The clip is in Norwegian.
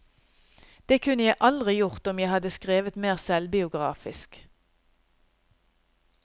Det kunne jeg aldri gjort om jeg hadde skrevet mer selvbiografisk.